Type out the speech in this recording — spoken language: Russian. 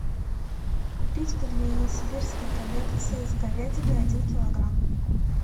купить пельмени сибирская коллекция с говядиной один килограмм